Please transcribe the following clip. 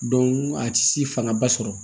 a ti si fangaba sɔrɔ